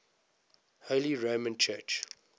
holy roman church